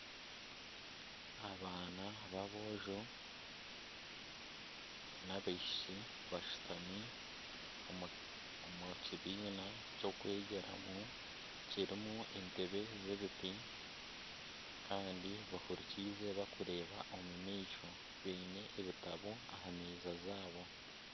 Abaana b'aboojo n'abashiki bashutami omu kibiina ky'okwegyeramu kirimu entebe z'ebiti kandi bahurikiize bakureeba omu maisho baine ebitabo aha meeza zaabo